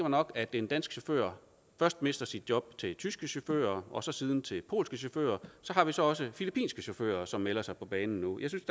nok at en dansk chauffør først mister sit job til tyske chauffører og så siden til polske chauffører så har vi så også filippinske chauffører som melder sig på banen nu jeg synes